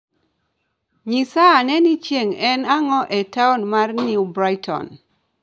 Nyisa ane ni chieng' en ang'o e taon mar New Brighton